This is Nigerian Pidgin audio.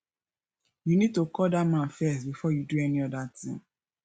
you need to call dat man first before you do any other thing